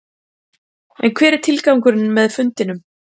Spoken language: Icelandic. En hver er tilgangurinn með fundunum?